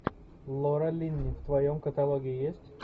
лора линни в твоем каталоге есть